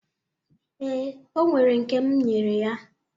Ee, o nwere nke m nyere ya.